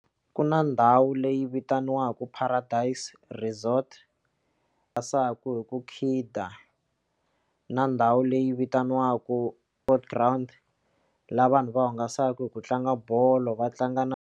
Ku na ndhawu leyi vitaniwaku Paradise resort hi ku khida na ndhawu leyi vitaniwaku Sport ground laha vanhu va hungasaka hi ku tlanga bolo va tlanga na.